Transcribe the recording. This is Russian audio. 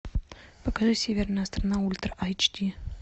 покажи северная страна ультра айч ди